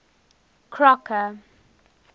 crocker